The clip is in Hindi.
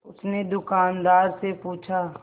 उसने दुकानदार से पूछा